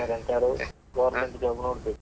ಎಂತಾದ್ರೂ, government job ನೋಡ್ಬೇಕು.